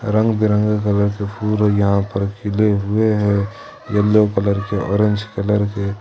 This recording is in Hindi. रंग बिरंगे कलर के फूल यहां पर खिले हुए हैं येलो कलर के ऑरेंज कलर के।